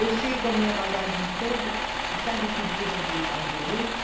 Eu chego com a minha bagagem toda e sabe o que diz a ge, a gerente?